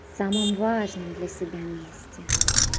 самым важным для себя месте